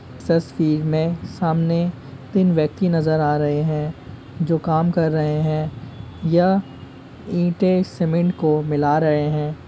इस सस्वीर में सामने तीन व्यक्ति नजर आ रहें हैं जो काम कर रहें हैं या ईटे सीमेंट को मिला रहें हैं ।